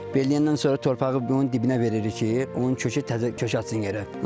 Belləyəndən sonra torpağı onun dibinə veririk ki, onun kökü kökə açsın yerə.